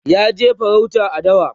ya je farauta a dawa